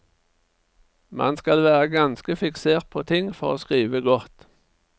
Man skal være ganske fiksert på ting for å skrive godt.